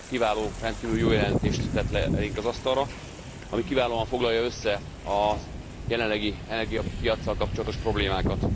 Egy kiváló, rendkívül jó jelentést tett le elénk az asztalra, ami kiválóan foglalja össze a jelenlegi energiapiaccal kapcsolatos problémákat.